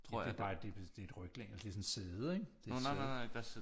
Det er bare det er et ryglæn det er sådan et sæde ikke det er et sæde